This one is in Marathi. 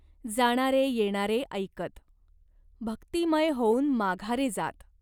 जाणारे येणारे ऐकत. भक्तिमय होऊन माघारे जात.